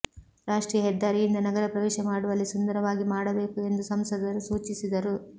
ರಾಷ್ಟ್ರೀಯ ಹೆದ್ದಾರಿಯಿಂದ ನಗರ ಪ್ರವೇಶ ಮಾಡುವಲ್ಲಿ ಸುಂದರವಾಗಿ ಮಾಡಬೇಕು ಎಂದು ಸಂಸದರು ಸೂಚಿಸಿದರು